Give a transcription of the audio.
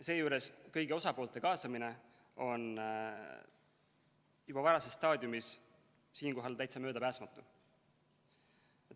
Seejuures on kõigi osapoolte kaasamine juba varases staadiumis siinkohal täitsa möödapääsmatu.